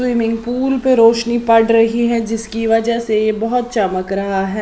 Swimming pool पर रोशनी पड़ रही है जिसकी वजह से यह बहुत चमक रहा है।